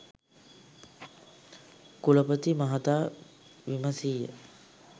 කුලපති මහතා විමසීය